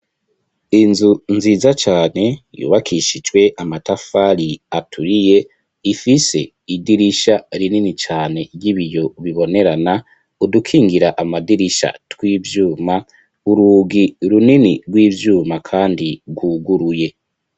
Inzu nziza cane, yubakishijwe amatafari, aturiye, ifise idirisha, rinini cane, ry'ibiyo bibonerana; udukingira amadirisha, tw'ivyuma, urugi runini, rw'ivyuma, kandi gwuguruye.